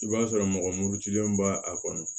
I b'a sɔrɔ mɔgɔ murutilen b'a kɔnɔ